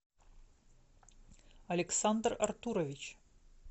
александр артурович